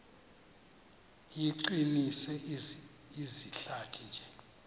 iqinise izihlathi nje